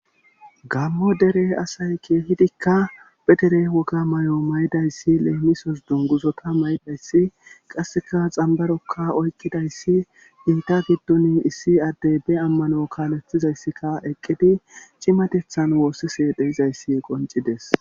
gammo dere asay keehidikka petere woga may7o may7idayssi leemisos dunguzota may7dayssi qasseka xambarokka oykidayssi iita giddun issi addey be ammano kaalethizayssika eqqidi cimatethan woossise dheizayssi qoncides